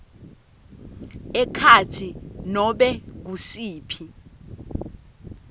ekhatsi nobe ngusiphi